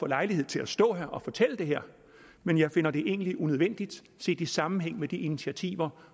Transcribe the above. lejlighed til at stå her og fortælle det her men jeg finder det egentlig unødvendigt set i sammenhæng med de initiativer